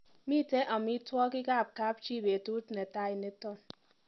Miite amitwogik ak kapchii betut netai nito.